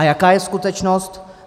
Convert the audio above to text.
A jaká je skutečnost?